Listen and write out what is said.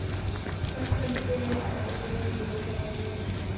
Hvort hann sé eitthvað inni í myndinni hjá henni.